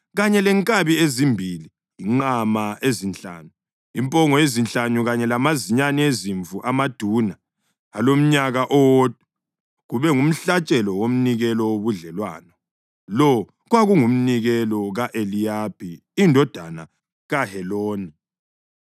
kanye lenkabi ezimbili, inqama ezinhlanu, impongo ezinhlanu kanye lamazinyane ezimvu amaduna alomnyaka owodwa, kube ngumhlatshelo womnikelo wobudlelwano. Lo kwakungumnikelo ka-Eliyabi indodana kaHeloni.